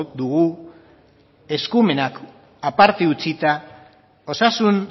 dugu eskumenak aparte utzita osasun